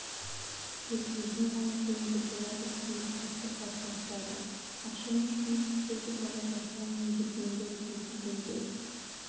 тек өзіне ғана сенуге болады деген түсінікті қалыптастырады ақшамен жұмыс істеуді бала жастан меңгергендер есейгенде